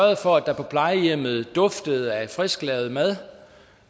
for at der på plejehjemmet duftede af frisklavet mad